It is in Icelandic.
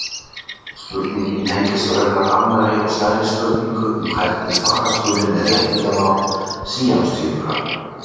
Spurningin tengist raunar annarri og stærri spurningu um hvernig fara skuli með réttindamál síamstvíbura.